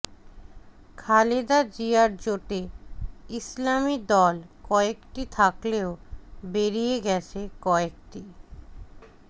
খালেদা জিয়ার জোটে ইসলামী দল কয়েকটি থাকলেও বেরিয়ে গেছে কয়েকটি